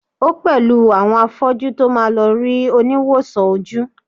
o pẹlú àwọn afọju to ma lo ri oniwosan oju